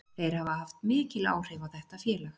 Þeir hafa haft mikil áhrif á þetta félag.